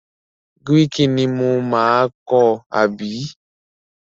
Gíréékí ni mo máa kọ́ àbí?